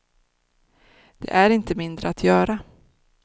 Det är inte mindre att göra.